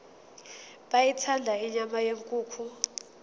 beyithanda inyama yenkukhu